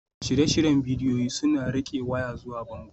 Shirye-shiryen bidiyo suna riƙe waya zuwa bango